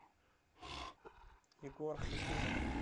егор хакимов